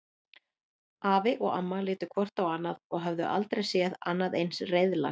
Afi og amma litu hvort á annað og höfðu aldrei séð annað eins reiðlag.